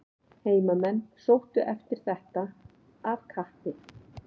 Heimamenn sóttu eftir þetta af kappi.